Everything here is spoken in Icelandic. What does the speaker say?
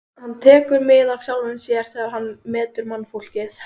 Hann tekur mið af sjálfum sér þegar hann metur mannfólkið.